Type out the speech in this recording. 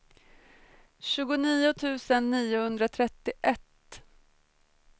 tjugonio tusen niohundratrettioett